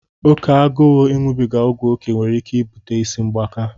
Oke agụụ iṅụbiga ọgwụ oké nwere ike ibute ịsị mgbaka.